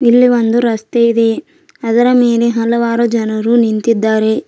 ಇಲ್ಲಿ ಒಂದು ರಸ್ತೆ ಇದೆ ಅದರ ಮೇಲೆ ಹಲವಾರು ಜನರು ನಿಂತಿದ್ದಾರೆ.